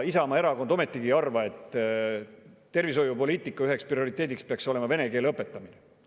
Isamaa Erakond ei arva, et tervishoiupoliitika üheks prioriteediks peaks olema vene keele õpetamine.